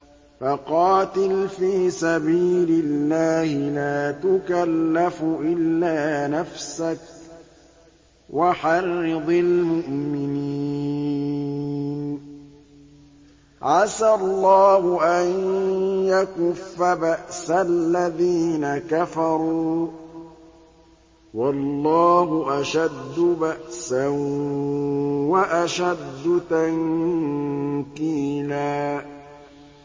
فَقَاتِلْ فِي سَبِيلِ اللَّهِ لَا تُكَلَّفُ إِلَّا نَفْسَكَ ۚ وَحَرِّضِ الْمُؤْمِنِينَ ۖ عَسَى اللَّهُ أَن يَكُفَّ بَأْسَ الَّذِينَ كَفَرُوا ۚ وَاللَّهُ أَشَدُّ بَأْسًا وَأَشَدُّ تَنكِيلًا